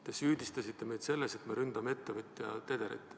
Te süüdistasite meid selles, et me ründame ettevõtja Tederit.